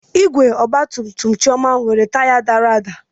Igwe ọgba tum tum Chioma nwere taya dara ada.